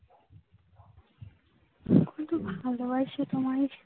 খুব ভালোবাসি তোমায়।